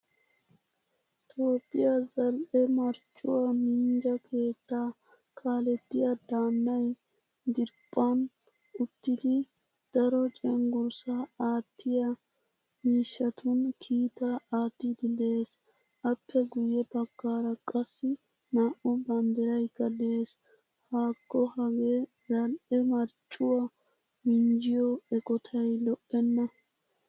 Toophphiyaa zal'e marccuwaa minjja keetta kaalettiyaa daanay diriphphan uttidi daro cenggurssa aattiyaa miishshatun kiitaa aattidi de'ees. Appe guye baggaara qassi na'u banddiraykka de'ees. Hakko hagee zal'ee marccuwaa minjjiyo eqqottay lo'ena.